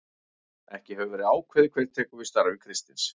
Ekki hefur verið ákveðið hver tekur við starfi Kristins.